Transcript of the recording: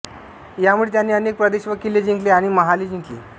यामुळे त्यांनी अनेक प्रदेश व किल्ले जिंकले आणि महाले जिंकली